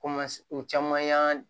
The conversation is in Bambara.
Koma u caman y'an